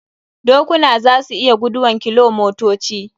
Dokuna za su iya guduwan kilomotoci.